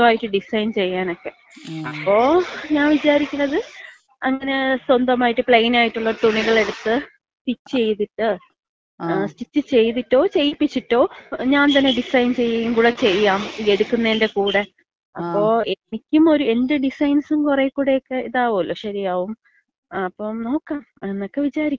സ്വന്തായിട്ട് ഡിസൈൻ ചെയ്യാനക്കെ. അപ്പോ ഞാൻ വിചാരിക്കണത് അങ്ങനെ സ്വന്തമായിട്ട് പ്ലെയിൻ ആയിട്ടുള്ള തുണികളെടുത്ത് സ്റ്റിച്ച് ചെയ്തിട്ട്, സ്റ്റിച്ച് ചെയ്തിട്ടോ ചെയ്യിപ്പിച്ചിട്ടോ ഞാൻ തന്നെ ഡിസൈൻ ചെയ്യുകേം കൂടെ ചെയ്യാം. ഈ എടുക്കുന്നേന്‍റ കൂടെ. അപ്പൊ എനിക്കും ഒര്, എന്‍റെ ഡിസൈൻസും കുറെ കൂടൊക്കെ ഇതാവുവല്ലോ. ശരിയാവും. ങാ, അപ്പൊ നോക്കാം എന്നക്ക വിചാരിക്കണ്.